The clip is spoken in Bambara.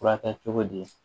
Furakɛ cogo di